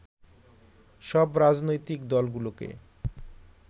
সব রাজনৈতিক দলগুলোকে